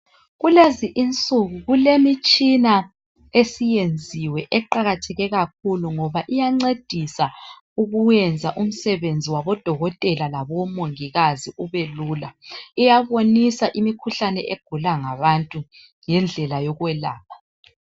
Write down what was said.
Kulezi insuku kulemitshina esiyenziwe eqakatheke kakhulu ngoba iyancedisa ukuyenza umsebenzi wabodokotela labomongikazi ubelula iyabonisa imikhuhlane egulwa ngabantu lendlela yokwelapha